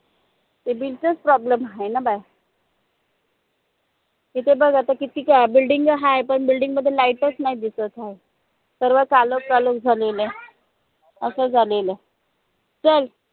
ते bill चच problem हाय न बाय इथे बघ आता कितीक building गा हाय पन building मध्ये light च नई दिसत हाय सर्व कालोख कालोख झालेलया असं झालेलया चल